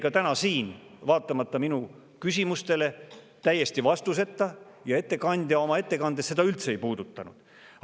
Ka täna jäi see vaatamata minu küsimustele täiesti ja ettekandja oma ettekandes seda üldse ei puudutanud.